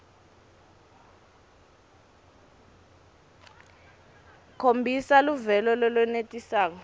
khombisa luvelo lolwenelisako